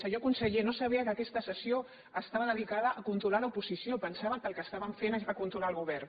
senyor conseller no sabia que aquesta sessió estava dedicada a controlar l’opo·sició pensava que el que estàvem fent és controlar el govern